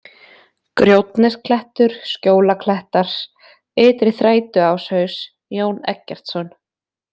Grjótnesklettur, Skjólaklettar, Ytri-Þrætuáshaus, Jón Eggertsson